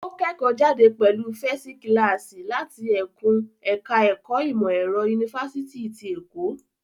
Ó kẹ́kọ̀ọ́jáde pẹ̀lú fẹsi kílàásí láti ẹkùn ẹ̀ká ẹ̀kọ́ ìmọ̀ ẹ̀rọ, Yunifásitì ti Èkó.